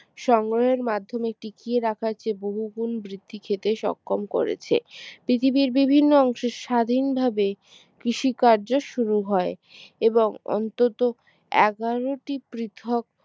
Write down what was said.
সংগ্রহের মাধ্যমে টিকিয়ে রাখার চেয়ে বহু গুণ বৃদ্ধি খেতে সক্ষম করেছে পৃথিবীর বিভিন্ন অংশে স্বাধীনভাবে কৃষি কার্য শুরু হয় এবং অন্তত এগারো টি পৃথক